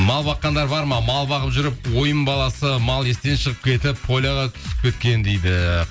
мал баққандар бар ма мал бағып жүріп ойын баласы мал естен шығып кетіп поляға түсіп кеткен дейді